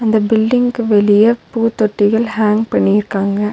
இந்த பில்டிங்க்கு வெளிய பூத்தொட்டிகள் ஹாங் பண்ணிருக்காங்க.